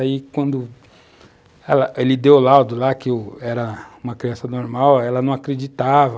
Aí, quando ela ele deu o laudo lá, que eu era uma criança normal, ela não acreditava.